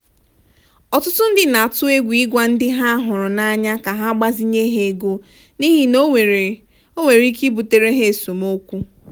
ọtụtụ ndị na-atụ egwu ịgwa ndị ha hụrụ n'anya ka ha gbazinye ha ego n'ihi na ọ nwere ọ nwere ike ibutere ha esemokwu.